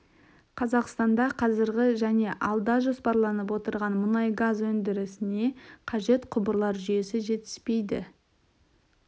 қазақстанда қазіргі және алда жоспарланып отырған мұнай-газ өндірісіне қажет құбырлар жүйесі жетіспейді